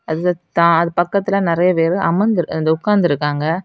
அந்த த அது பக்கத்துல நெறியா பேரு அமர்ந்து இந்த உக்காந்திருக்காங்க.